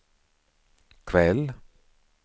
kväll